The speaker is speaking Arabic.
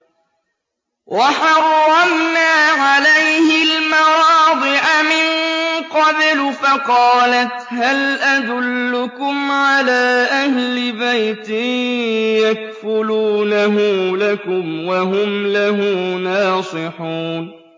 ۞ وَحَرَّمْنَا عَلَيْهِ الْمَرَاضِعَ مِن قَبْلُ فَقَالَتْ هَلْ أَدُلُّكُمْ عَلَىٰ أَهْلِ بَيْتٍ يَكْفُلُونَهُ لَكُمْ وَهُمْ لَهُ نَاصِحُونَ